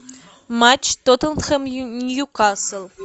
матч тоттенхэм ньюкасл